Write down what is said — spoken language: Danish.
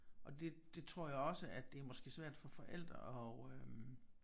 Og det det tror jeg også at det er måske svært for forældre at øh